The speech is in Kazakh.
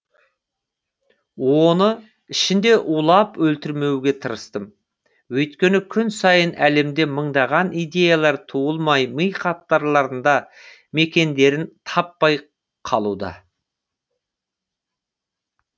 оны ішінде улап өлтірмеуге тырыстым өйткені күн сайын әлемде мыңдаған идеялар туылмай ми қатпарларында мекендерін таппай қалуда